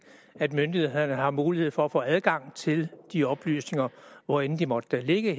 at myndighederne har mulighed for at få adgang til de oplysninger hvor end de måtte ligge i